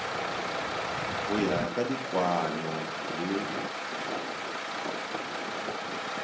go ya ka dikwaano le